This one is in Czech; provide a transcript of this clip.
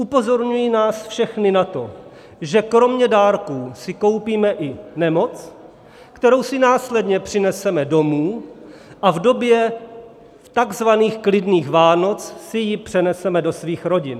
Upozorňuji nás všechny na to, že kromě dárků si koupíme i nemoc, kterou si následně přineseme domů a v době takzvaných klidných Vánoc si ji přeneseme do svých rodin.